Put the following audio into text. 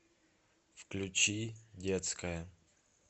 включи детская